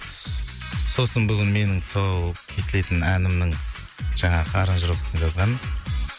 ссс сосын бүгін менің тұсау кесілетін әнімнің жаңағы аранжировкасын жазған